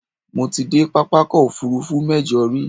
Mo ti dé pápákọ̀-òfurufú mẹ́jọ rí.